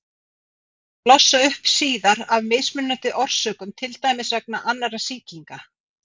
Hún getur blossað upp síðar af mismunandi orsökum, til dæmis vegna annarra sýkinga.